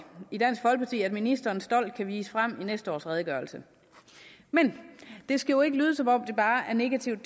i dansk folkeparti at ministeren stolt kan vise frem i næste års redegørelse det skal jo ikke lyde som om bare er negativt